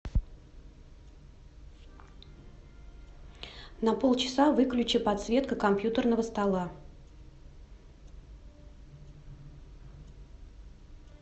на полчаса выключи подсветка компьютерного стола